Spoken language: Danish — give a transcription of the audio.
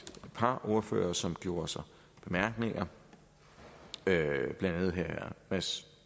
par ordførere som gjorde sig bemærkninger blandt andet herre mads